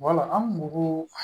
Wala an bugu